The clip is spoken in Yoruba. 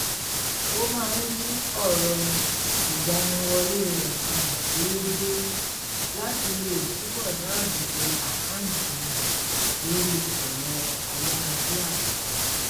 ó máa ń yí ọ̀rọ̀ ìgbaniwọlé rẹ̀ padà déédéé láti lè túbọ̀ dáàbòbò àkáǹtì rẹ̀ lóri ẹ̀rọ ayárabíàṣá